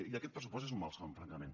i aquest pressupost és un malson francament